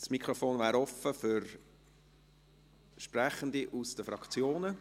Das Mikrofon wäre offen für Sprechende aus den Fraktionen.